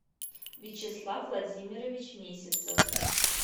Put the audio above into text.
вячеслав владимирович месяцев